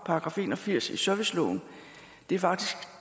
§ en og firs i serviceloven det er faktisk